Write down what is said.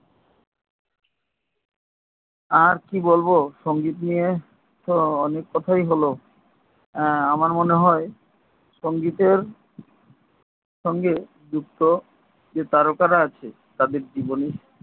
আর কি বলব সঙ্গীত নিয়ে অনেক কোথায় তো হল হ্যা আমার মনে হয় সঙ্গীতের সঙ্গে যুক্ত অনেক যে তারকারা আছে তাদের জীবনী